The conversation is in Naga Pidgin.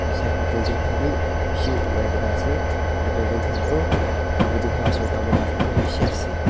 side teh building khanbi peshi olai kina ase eru eto building kan toh eto building kan laga osor teh tamul khaas beshi ase.